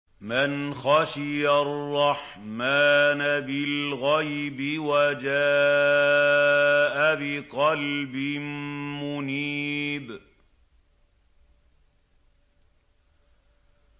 مَّنْ خَشِيَ الرَّحْمَٰنَ بِالْغَيْبِ وَجَاءَ بِقَلْبٍ مُّنِيبٍ